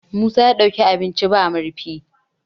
musa ya ɗauki abinci ba murfi